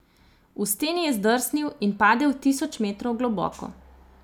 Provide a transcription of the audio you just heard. V steni je zdrsnil in padel tisoč metrov globoko.